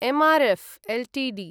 M R F Ltd